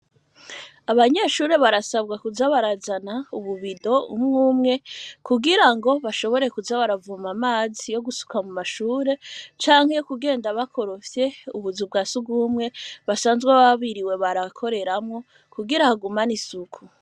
Abanyeshure, barasabwa, kuza barazana ububido, umwe umwe, kugira ngo, bashobore kuza, baravoma amazi; yo gusuka mu mashure, canke yo kugenda bakorofye, ubuzu bwa surwumwe; basanzwe baba, biriwe barakoreramwo, kugira, hagumane isuku.